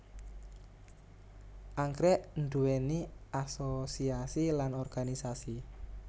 Anggrèk nduwéni asosiasi lan organisasi